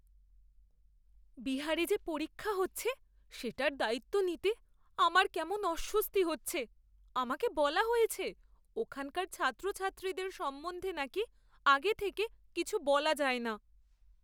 বিহারে যে পরীক্ষা হচ্ছে সেটার দায়িত্ব নিতে আমার কেমন অস্বস্তি হচ্ছে। আমাকে বলা হয়েছে ওখানকার ছাত্রছাত্রীদের সম্বন্ধে নাকি আগে থেকে কিছু বলা যায় না।